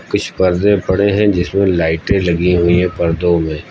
कुछ पर्दे पड़े हैं जिसमें लाइटें लगी हुई है पर्दों में।